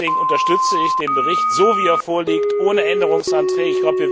Deswegen unterstütze ich den Bericht so, wie er vorliegt, ohne Änderungsanträge.